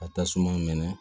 Ka tasuma mɛnɛ